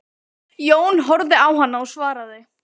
Jón horfði á hana og svaraði